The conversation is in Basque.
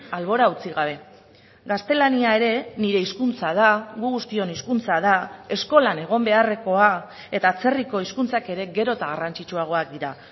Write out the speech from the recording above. albora utzi gabe gaztelania ere nire hizkuntza da gu guztion hizkuntza da eskolan egon beharrekoa eta atzerriko hizkuntzak ere gero eta garrantzitsuagoak dira